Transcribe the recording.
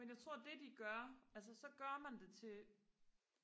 men jeg tror det de gør altså så gør man det til